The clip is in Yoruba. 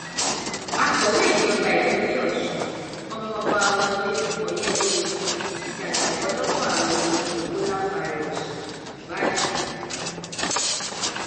akọwé ìjọba ìpínlẹ ọṣun ọmọọba wọlé ọyẹbómíjì ti jàjàbọ lọwọ àrùn kòǹgóláfàírọọsì báyìí